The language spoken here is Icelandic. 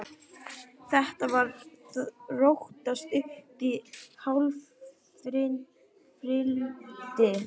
Þetta var að þróast uppí hávaðarifrildi.